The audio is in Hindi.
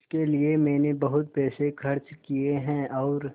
इसके लिए मैंने बहुत पैसे खर्च किए हैं और